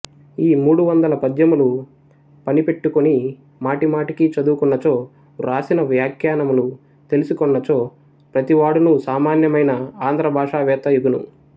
ఈ మూడువందల పద్యములు పనిపెట్టుకుని మాటిమాటికి చదువుకున్నచో వ్రాసిన వ్యాఖ్యానములు తెలిసికొన్నచో ప్రతివాడును సామాన్యమైన ఆంధ్రభాషావేత్త యగుని